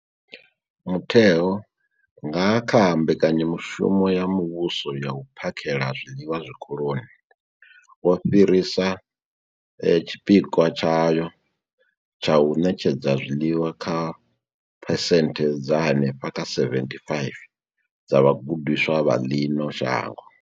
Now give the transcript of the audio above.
Mutheo, nga kha Mbekanya mushumo ya Muvhuso ya U phakhela zwiḽiwa Zwikoloni, wo fhirisa tshipikwa tshayo tsha u ṋetshedza zwiḽiwa kha phesenthe dza henefha kha 75 dza vhagudiswa vha ḽino shango.